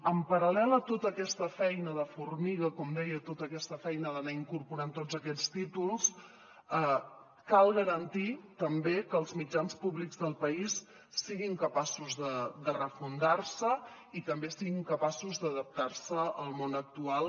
en paral·lel a tota aquesta feina de formiga com deia tota aquesta feina d’anar incorporant tots aquests títols cal garantir també que els mitjans públics del país siguin capaços de refundar se i també siguin capaços d’adaptar se al món actual